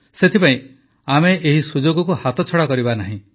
ସେଥିପାଇଁ ଆମେ ଏହି ସୁଯୋଗକୁ ହାତଛଡ଼ା କରିବା ନାହିଁ